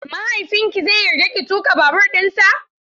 Mahaifinki zai yarda ki tuƙa babur dinsa?